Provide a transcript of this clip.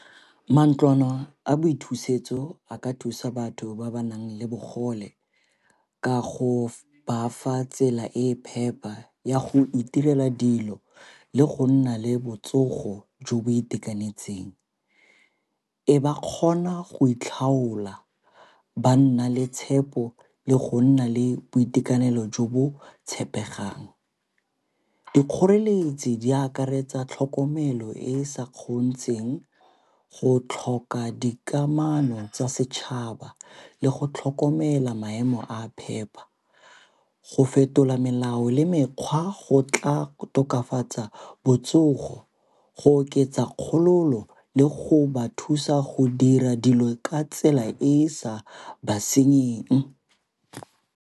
Mantlwana a boithusetso a ka thusa batho ba ba nang le bogole ka go ba fa tsela e e phepa ya go itirela dilo le go nna le botsogo jo bo itekanetseng. E ba kgona go itlhaola ba nna le tshepo le go nna le boitekanelo jo bo tshepegang. Dikgoreletsi di akaretsa tlhokomelo e e sa kgontsheng go tlhoka dikamano tsa setšhaba le go tlhokomela maemo a a phepa. Go fetola melao le mekgwa go tla go tokafatsa botsogo go oketsa kgololo le go ba thusa go dira dilo ka tsela e e sa ba senyeng.